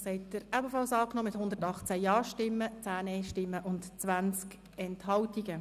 Auch diesen Ordnungsantrag haben Sie angenommen mit 118 Ja-Stimmen, 10 NeinStimmen und 20 Enthaltungen.